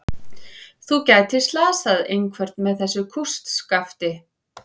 Þú gætir slasað einhvern með þessu kústskafti.